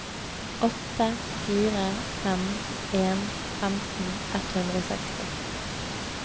åtte fire fem en femten ett hundre og seksti